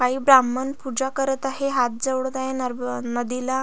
काही ब्राम्हण पुजा करत आहेत हात जोडत आहे नरबो नदीला.